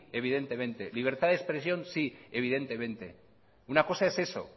evidentemente libertad de expresión sí evidentemente una cosa es eso